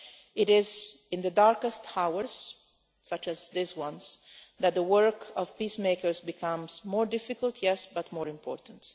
It is in the darkest hours, such as these, that the work of peacemakers becomes more difficult yes but more important.